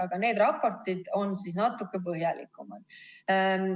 Aga need raportid on natuke põhjalikumad.